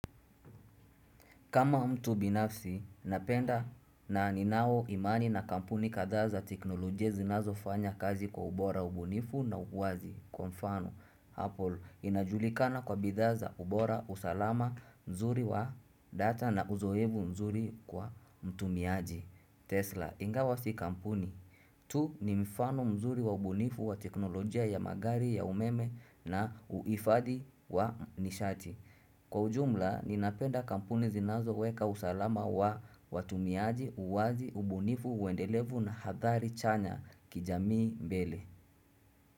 Kama mtu binafsi, napenda na ninao imani na kampuni kadhaa za teknolojia zinazo fanya kazi kwa ubora ubunifu na uwazi. Kwa mdano, Apple inajulikana kwa bidhaa za ubora usalama mzuri wa data na uzoefu mzuri kwa mtumiaji. Tesla, ingawa si kampuni. Tu ni mfano mzuri wa ubunifu wa teknolojia ya magari ya umeme na uhifadi wa nishati. Kwa ujumla, ninapenda kampuni zinazo weka usalama wa watumiaji, uwazi, ubunifu, wendelevu na hadhari chanya kijamii mbele.